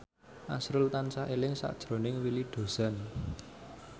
azrul tansah eling sakjroning Willy Dozan